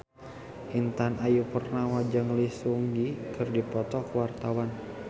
Intan Ayu Purnama jeung Lee Seung Gi keur dipoto ku wartawan